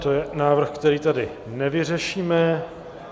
To je návrh, který tady nevyřešíme.